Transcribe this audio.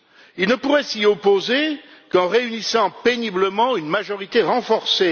ils ne pourraient s'y opposer qu'en réunissant péniblement une majorité renforcée.